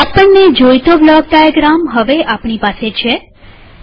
આપણને જોઈતો block diagram હવે આપણી પાસે છે